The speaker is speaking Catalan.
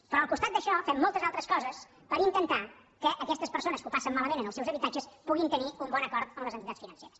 però al costat d’això fem moltes altres coses per intentar que aquestes persones que ho passen malament en els seus habitatges puguin tenir un bon acord amb les entitats financeres